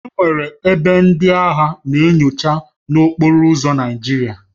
Enwere ebe ndị agha na-enyocha n'okporo ụzọ Naijiria